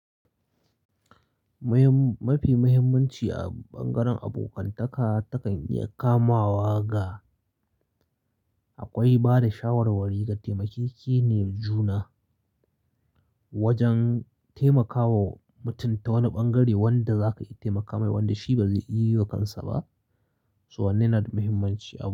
Mafi muhimmanci a ɓangaren abokantaka takan iya kamawa ga akwai bada shawarwari ga taimakake ne juna wajen taimakawa mutum ta wani ɓangare wanda zaka iya taimaka mai wanda shi ba zai iya yi wa kansa ba. So wannan yana da muhimmanci a.